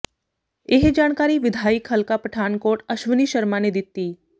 ਇਹ ਜਾਣਕਾਰੀ ਵਿਧਾਇਕ ਹਲਕਾ ਪਠਾਨਕੋਟ ਅਸ਼ਵਨੀ ਸ਼ਰਮਾ ਨੇ ਦਿੱਤੀ